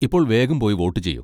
ഇപ്പോൾ വേഗം പോയി വോട്ട് ചെയ്യൂ.